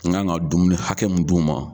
N gan ka dumuni hakɛ mun di u ma